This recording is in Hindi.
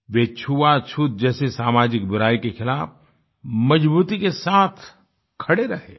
वे छुआछूत जैसे सामाजिक बुराई के खिलाफ मजबूती के साथ खड़े रहे